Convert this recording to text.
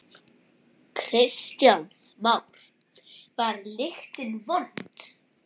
Kristján Már: Var lyktin vond?